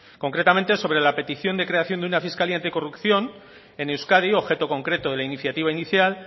concretamente sobre la petición de creación de una fiscalía anticorrupción en euskadi objeto concreto de la iniciativa inicial